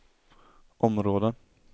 områden